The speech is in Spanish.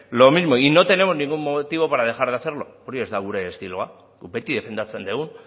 lo mismo y no tenemos ningún motivo para dejar de hacerlo hori ez da gure estiloa guk beti defendatzen dugu